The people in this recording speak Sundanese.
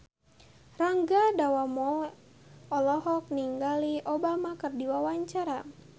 Rangga Dewamoela olohok ningali Obama keur diwawancara